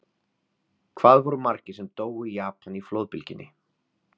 Hvað voru margir sem dóu í Japan í flóðbylgjunni?